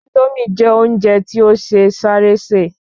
Índómì jẹ́ óúnje ti o se sáré se